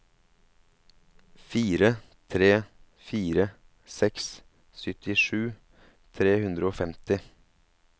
fire tre fire seks syttisju tre hundre og femti